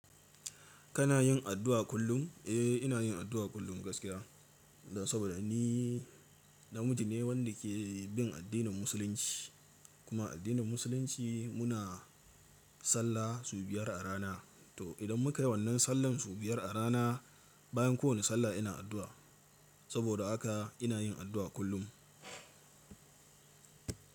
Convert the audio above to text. Kana yin addu'a kullum? Eh, ina yin addu'a kullum gaskiya. Saboda ni namiji ne wanda ke bin addinin Musulunci kuma addinin Musulunci muna sallah sau biyar a rana. To idan muka yi wannan sallan sau biyar a rana, bayan kowane sallah ina addu'a. Saboda haka ina yin addu'a kullum.